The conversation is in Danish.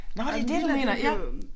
Nåh det det du mener ja